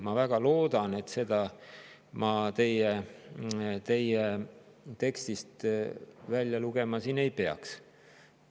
Ma väga loodan, et seda ma teie tekstist välja lugema ei peaks.